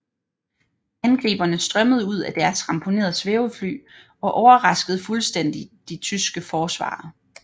Angriberne strømmede ud af deres ramponerede svævefly og overraskede fuldstændig de tyske forsvarere